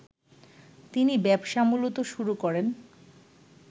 তিনি ব্যবসা মূলত শুরু করেন